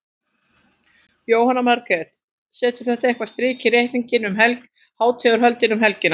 Jóhanna Margrét: Setur þetta eitthvað strik í reikninginn um hátíðarhöldin um helgina?